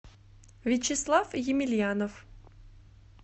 вячеслав емельянов